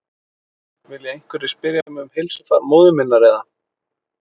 Vilja einhverjir spyrja mig um heilsufar móður minnar eða?